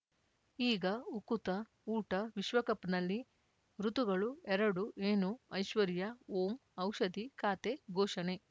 ಈಗ ಉಕುತ ಊಟ ವಿಶ್ವಕಪ್‌ನಲ್ಲಿ ಋತುಗಳು ಎರಡು ಏನು ಐಶ್ವರ್ಯಾ ಓಂ ಔಷಧಿ ಖಾತೆ ಘೋಷಣೆ